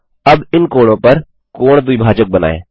अब इन कोणों पर कोण द्विभाजक बनाएँ